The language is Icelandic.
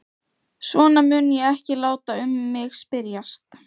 Svona mun ég ekki láta um mig spyrjast.